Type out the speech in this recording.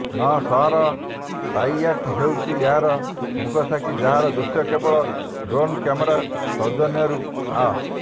ନ ସହର ପାପିୟାଟ ହେଉଚି ଏହାର ମୁକସାକ୍ଷୀ ଯାହାର ଦୃଶ୍ୟ କେବଳ ଡ୍ରୋନ୍ କ୍ୟାମେରା ସୌଜନ୍ୟରୁ ଅ